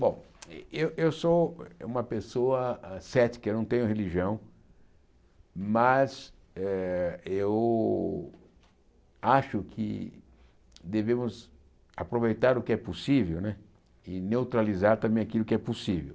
Bom, eh eu sou uma pessoa ah cética, eu não tenho religião, mas eh eu acho que devemos aproveitar o que é possível né e neutralizar também aquilo que é possível.